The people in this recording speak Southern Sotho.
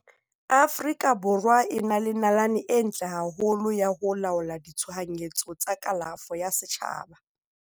Aforika Borwa e na le nalane e ntle haholo ya ho laola ditshohanyetso tsa kalafo ya setjhaba.